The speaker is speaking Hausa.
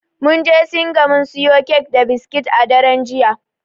Mun je singa mun siyo kek da biskit a daren jiya.